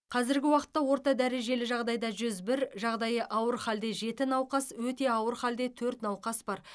қазіргі уақытта орта дәрежелі жағдайда жүз бір жағдайы ауыр халде жеті науқас өте ауыр хәлде төрт науқас бар